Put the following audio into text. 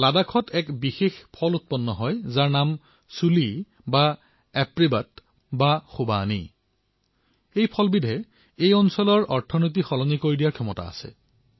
লাডাখৰ এটি বিশেষ ফল যাক চুলী অথবা এপ্ৰিকট বুলি কোৱা হয় এই ফলবিধে অঞ্চলটোৰ অৰ্থনীতি পৰিৱৰ্তিন কৰাৰ ক্ষমতা আছে